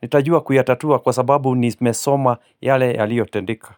nitajua kuyatatua kwa sababu nimesoma yale yaliyotendeka.